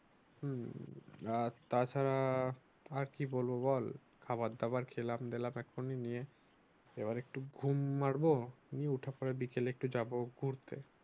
আর তাছাড়া আর কি বলবো বল খাবার দাবার খেলাম দেলাম এক্ষুণি নিয়ে এবার একটু ঘুম মারবো নিয়ে এরপর উঠে পড়ে বিকেলে একটু যাব ঘুরতে